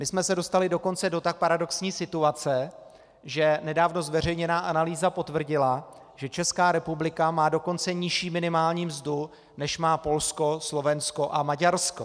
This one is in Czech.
My jsme se dostali dokonce do tak paradoxní situace, že nedávno zveřejněná analýza potvrdila, že Česká republika má dokonce nižší minimální mzdu, než má Polsko, Slovensko a Maďarsko.